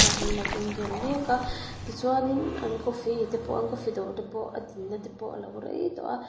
ah an lo in vel mek a ti chuan in an coffee te pawh an coffee dawr te pawh a din na te pawh a lo rei tawh a.